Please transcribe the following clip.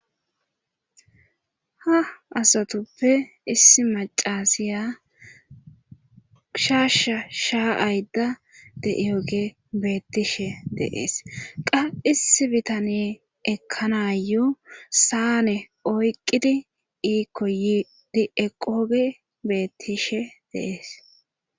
ha asatuppe issi macasiya shaasha shaa aydda deyoge beettishe de'es qal issi bitaniye ekkanayo saane oyqqidi iikoyidi eqoge beettishe deees